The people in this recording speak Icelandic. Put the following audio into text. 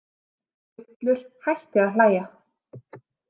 Ullur hætti að hlæja.